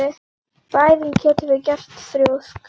Bæði getum við verið þrjósk.